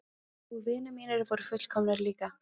Og vinir mínir voru fullkomnir líka.